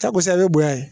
Takosa i bɛ bonya